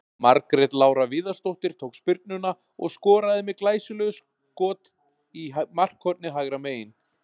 Margrét Lára Viðarsdóttir tók spyrnuna og skoraði með glæsilegu skot í markhornið hægra megin.